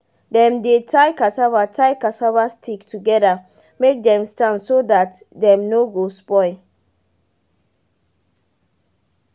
dem de tie cassava tie cassava stick together make them stand so that dem no go spoil